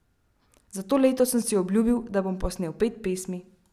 Za to leto sem si obljubil, da bom posnel pet pesmi.